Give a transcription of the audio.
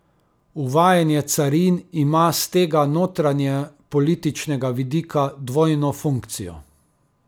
Uvajanje carin ima s tega notranjepolitičnega vidika dvojno funkcijo.